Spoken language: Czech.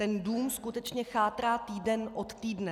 Ten dům skutečně chátrá týden od týdne.